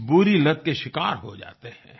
इस बुरी लत के शिकार हो जाते हैं